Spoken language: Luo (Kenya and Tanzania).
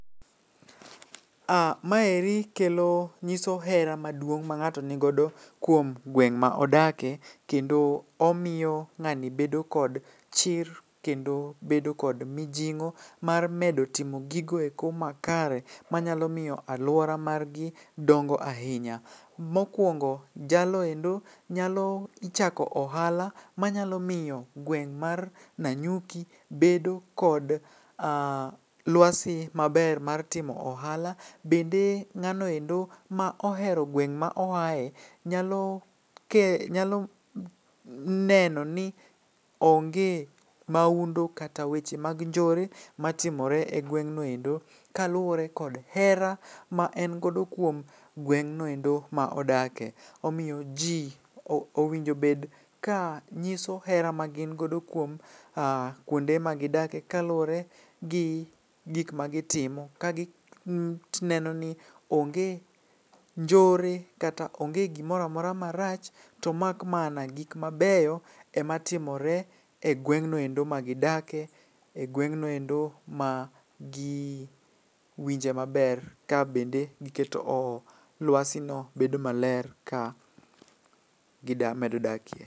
Aa, maeri kelo nyiso hera maduong' ma ng'ato nigodo kuom gweng' ma odake. Kendo omiyo ng'ani bedo kod chir kendo bedo kod mijing'o mar medo timo gigoeko ma kare, manyalo miyo alwora margi dongo ahinya. Mokwongo jaloendo nyalo chako ohala, manyalo miyo gweng' mar Nanyuki bedo kod lwasi maber mar timo ohala. Bende ng'anoendo ma ohero gweng' ma oae, nyalo ke, nyalo neno ni onge maundu kata weche mag njore matimore e gweng'noendo. Kaluwore kod hera ma en godo kuom gweng'noendo ma odake. Omiyo ji owinjo bed ka nyiso hera ma gin godo kuonde ma gidake kaluwore gi gik ma gitimo, ka gineno ni onge njore kata onge gimora mora marach. To mak mana gik mabeyo ema timore e gweng'noendo ma gidake, e gweng'noendo ma gi winje maber ka bende giketo lwasi no bedo maler ka gida gimedo dakie.